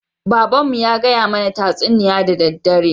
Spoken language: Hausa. Baban mu ya kaya mana tatsuniya da daddare